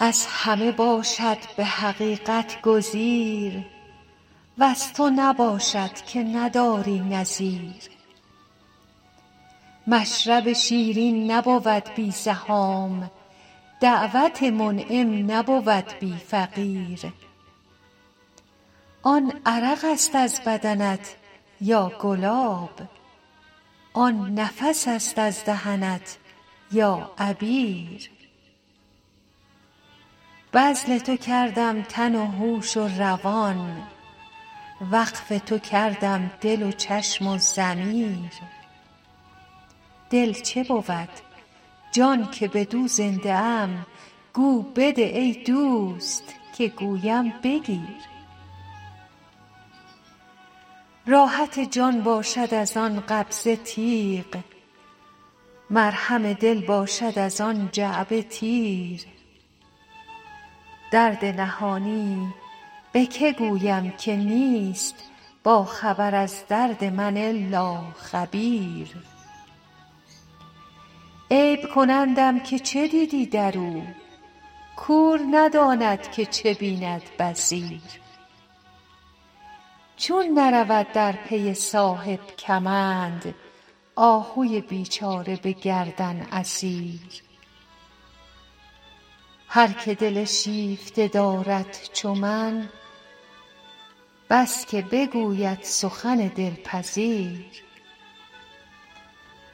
از همه باشد به حقیقت گزیر وز تو نباشد که نداری نظیر مشرب شیرین نبود بی زحام دعوت منعم نبود بی فقیر آن عرق است از بدنت یا گلاب آن نفس است از دهنت یا عبیر بذل تو کردم تن و هوش و روان وقف تو کردم دل و چشم و ضمیر دل چه بود جان که بدو زنده ام گو بده ای دوست که گویم بگیر راحت جان باشد از آن قبضه تیغ مرهم دل باشد از آن جعبه تیر درد نهانی به که گویم که نیست باخبر از درد من الا خبیر عیب کنندم که چه دیدی در او کور نداند که چه بیند بصیر چون نرود در پی صاحب کمند آهوی بیچاره به گردن اسیر هر که دل شیفته دارد چو من بس که بگوید سخن دلپذیر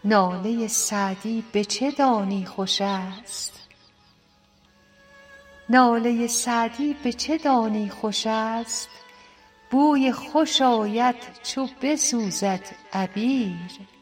ناله سعدی به چه دانی خوش است بوی خوش آید چو بسوزد عبیر